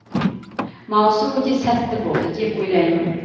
маусым өте сәтті болды деп ойлаймын